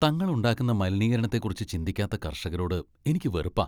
തങ്ങൾ ഉണ്ടാക്കുന്ന മലിനീകരണത്തെക്കുറിച്ച് ചിന്തിക്കാത്ത കർഷകരോട് എനിക്ക് വെറുപ്പാ.